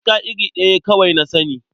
Aska iri ɗaya kawai na sani.